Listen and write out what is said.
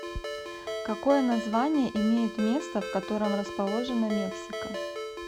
какое название имеет место в котором расположена мексика